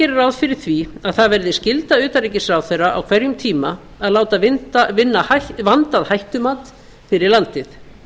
gerir ráð fyrir því að það er skylda utanríkisráðherra á hverjum tíma að láta vinna vanda og hættumat fyrir landið